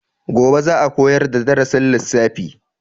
Gobe za a koyar da darasin lissafi.